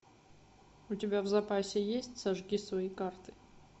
у тебя в запасе есть сожги свои карты